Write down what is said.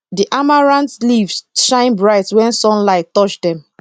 the amaranth leaves shine bright when sunlight touch dem